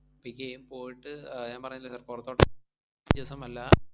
Pick എയ്യും. പോയിട്ട് ഞാൻ പറഞ്ഞില്ലേ sir പൊറത്തോട്ട~